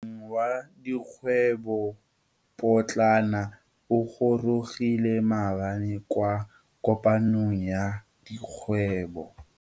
Wa dikgwebo potlana o gorogile maabane kwa kopanong ya dikgwebo.